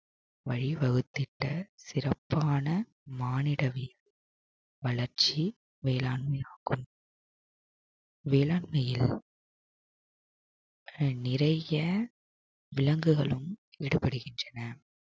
வழி வகுத்திட்ட சிறப்பான மானிடவி வளர்ச்சி வேளாண்மையாகும் வேளாண்மையில் நிறைய விலங்குகளும் விடுபடுகின்றன